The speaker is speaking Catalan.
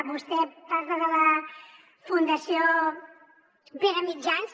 vostè parla de la fundació pere mitjans